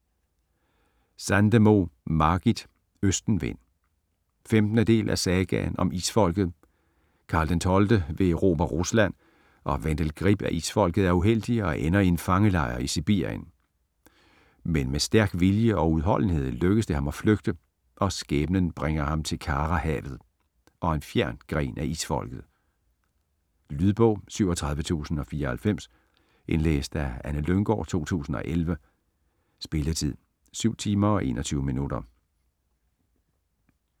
Sandemo, Margit: Østenvind 15. del af Sagaen om Isfolket. Karl XII vil erobre Rusland, og Vendel Grip af Isfolket er uheldig og ender i en fangelejr i Sibirien. Men med stærk vilje og udholdenhed lykkes det ham at flygte, og skæbnen bringer ham til Karahavet - og en fjern gren af Isfolket. Lydbog 37094 Indlæst af Anne Lynggaard, 2011. Spilletid: 7 timer, 21 minutter.